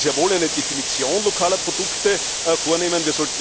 Wir sollten sehr wohl eine Definition lokaler Produkte vornehmen.